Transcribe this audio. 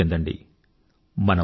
అనుభూతి చెందండి